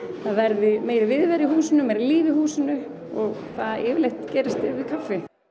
verði meiri viðvera í húsinu meira líf í húsinu og það yfirleitt gerist yfir kaffi